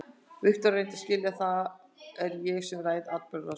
Viktoría, reyndu að skilja að það er ég sem ræð atburðarásinni.